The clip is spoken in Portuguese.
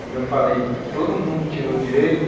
Como eu falei, todo mundo tirou o direito.